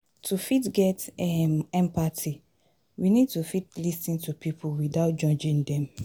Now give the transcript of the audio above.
to fit get um empathy we need to fit lis ten to pipo without judging them